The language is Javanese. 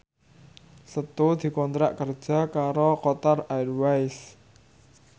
Setu dikontrak kerja karo Qatar Airways